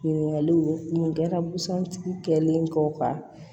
Ɲininkaliw nin kɛra busan tigi ko ka